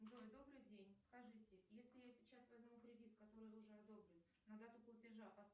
джой добрый день скажите если я сейчас возьму кредит который уже одобрен на дату платежа